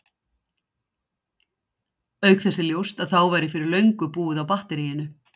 Auk þess er ljóst að þá væri fyrir löngu búið á batteríinu!